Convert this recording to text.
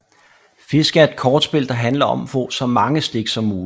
Fisk er et kortspil der handler om at få så mange stik som muligt